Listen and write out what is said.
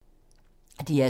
DR2